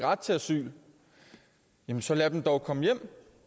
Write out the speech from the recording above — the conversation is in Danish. ret til asyl jamen så lad dem dog komme hjem